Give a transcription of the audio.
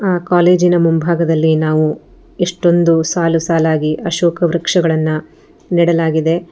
ಆ ಕಾಲೇಜಿನ ಮುಂಭಾಗದಲ್ಲಿ ನಾವು ಎಷ್ಟೊಂದು ಸಾಲು ಸಾಲಾಗಿ ಅಶೋಕ ವೃಕ್ಷಗಳನ್ನ ನೆಡಲಾಗಿದೆ.